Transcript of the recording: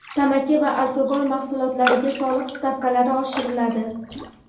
tamaki va alkogol mahsulotlariga soliq stavkalari oshiriladi.